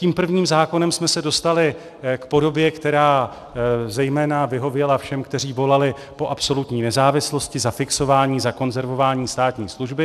Tím prvním zákonem jsme se dostali k podobě, která zejména vyhověla všem, kteří volali po absolutní nezávislosti, zafixování, zakonzervování státní služby.